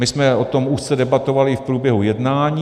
My jsme o tom úzce debatovali i v průběhu jednání.